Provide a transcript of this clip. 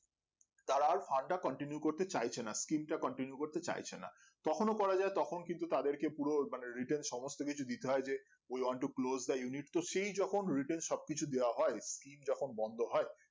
যারা fund টা continue করতে চাইছেনা skin টা continue করতে চাইছেনা তখনও করা যায় তখন কিন্তু তাদেরকে পুরো মানে written সমস্ত কিছু দিতে হয় যে ওই one two closed the unit তো সেই কখন written সবকিছু দেওয়া হয় skim যখন বন্ধ হয়